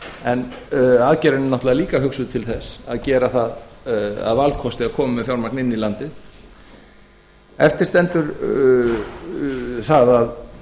en aðgerðin er náttúrlega líka hugsuð til þess að gera það að valkosti að koma með fjármagn inn í landið eftir stendur það að